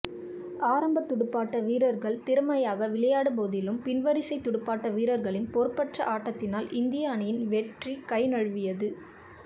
ஆரம்பத் துடுப்பாட்ட வீரர்கள் திறமையாக விளையாடிய போதிலும் பின்வரிசை துடுப்பாட்ட வீரர்களின் பொறுப்பற்ற ஆட்டத்தினால் இந்திய அணியின் வெற்றி கைநழுவியது